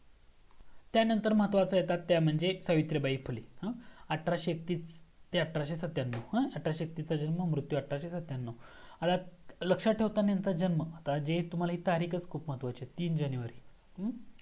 त्यानंतर महत्वाच्या येतात त्या म्हणजे सावित्रीबाई फुले आठरशे एकत्तीस ते अठराशे सत्त्यांन्नव अठराशे एकतीसचा जन्म मृत्यू अठराशे सत्त्यांन्नव आता लक्ष्यात ठेवताना यांचा जन्म म्हणजे हे तारीखच खूप महत्वाची आहे तीन जानेवारी अ